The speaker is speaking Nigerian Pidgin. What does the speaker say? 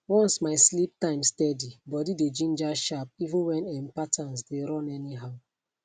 once my sleep time steady body dey ginger sharp even when um patterns dey run anyhow